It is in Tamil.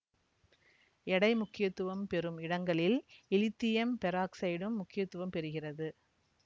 எடை முக்கியத்துவம் பெறும் இடங்களில் இலித்தியம் பெராக்சைடும் முக்கியத்துவம் பெறுகிறது